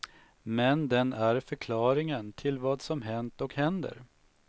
Men den är förklaringen till vad som hänt och händer.